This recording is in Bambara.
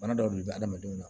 Bana dɔw de bɛ adamadenw na